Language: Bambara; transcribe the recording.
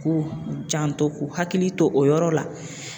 K'u janto k'u hakili to o yɔrɔ la